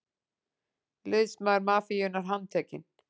Liðsmaður mafíunnar handtekinn